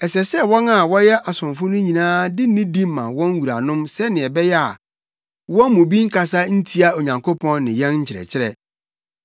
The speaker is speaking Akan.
Ɛsɛ sɛ wɔn a wɔyɛ asomfo no nyinaa de nidi ma wɔn wuranom sɛnea ɛbɛyɛ a wɔn mu bi nkasa ntia Onyankopɔn ne yɛn nkyerɛkyerɛ.